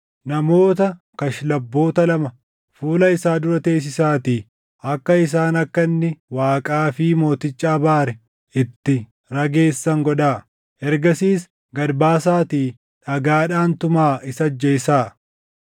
Namoota kashlabboota lama fuula isaa dura teessisaatii akka isaan akka inni Waaqaa fi mooticha abaare itti rageessan godhaa. Ergasiis gad baasaatii dhagaadhaan tumaa isa ajjeesaa.”